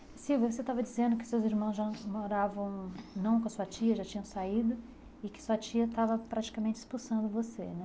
Silvia, você estava dizendo que seus irmãos já moravam não com a sua tia, já tinham saído e que sua tia estava praticamente expulsando você, né?